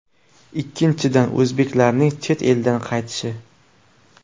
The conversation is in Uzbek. Ikkinchidan, o‘zbeklarning chet eldan qaytishi.